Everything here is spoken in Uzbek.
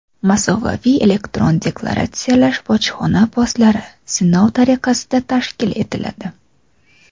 "Masofaviy elektron deklaratsiyalash bojxona postlari" sinov tariqasida tashkil etiladi;.